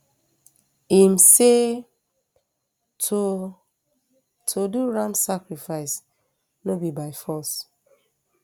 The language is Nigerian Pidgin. im say to to do ram sacrifice no be by force